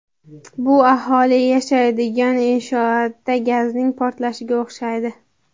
Bu aholi yashaydigan inshootda gazning portlashiga o‘xshaydi.